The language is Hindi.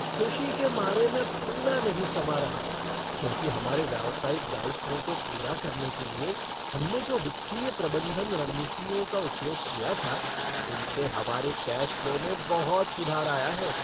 ख़ुशी के मारे मैं फूला नहीं समा रहा क्योंकि हमारे व्यावसायिक दायित्वों को पूरा करने के लिए हमने जो वित्तीय प्रबंधन रणनीतियों का उपयोग किया था उनसे हमारे कैश फ़्लो में बहुत सुधार आया है।